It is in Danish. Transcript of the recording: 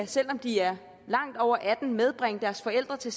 selv om de er langt over atten medbringe deres forældre til